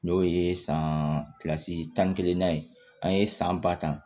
N'o ye san kilasi tan ni kelen na ye an ye san ba ta